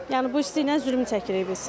Yəni bu isti ilə zülm çəkirik biz.